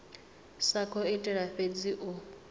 sa khou itela fhedzi u